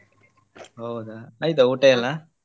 ಹೌದಾ ಆಯ್ತಾ ಊಟ ಎಲ್ಲ?